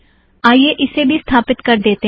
आईये उसे भी स्थापित कर देतें हैं